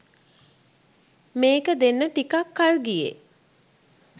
මේක දෙන්න ටිකක් කල් ගියෙ